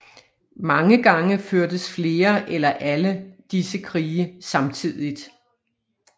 Mange gange førtes flere eller alle disse krige samtidigt